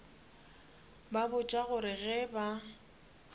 ba botša gore ge ba